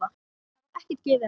Þar var ekkert gefið eftir.